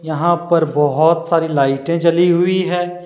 यहां पर बहुत सारी लाइटें जली हुई है।